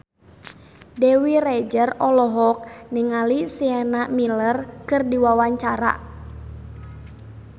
Dewi Rezer olohok ningali Sienna Miller keur diwawancara